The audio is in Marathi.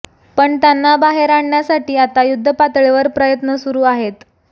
पण त्यांना बाहेर आणण्यासाठी आता युद्धपातळीवर प्रयत्न सुरु आहेत